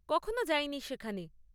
কখনো যাইনি সেখানে।